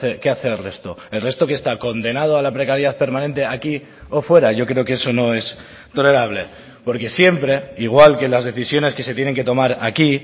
qué hace el resto el resto qué está condenado a la precariedad permanente aquí o fuera yo creo que eso no es tolerable porque siempre igual que las decisiones que se tienen que tomar aquí